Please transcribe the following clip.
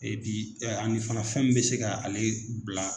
Epi ani fana fɛn min bɛ se ka ale bila.